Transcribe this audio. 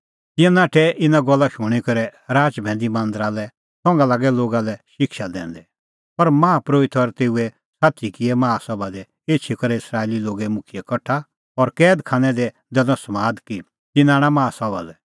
तिंयां नाठै इना गल्ला शूणीं करै राच भैंदी मांदरा लै संघा लागै लोगा लै शिक्षा दैंदै पर माहा परोहित और तेऊए साथी किऐ माहा सभा दी एछी करै इस्राएली लोगे मुखियै कठा और कैद खानै लै दैनअ समाद कि तिन्नां आणा माहा सभा लै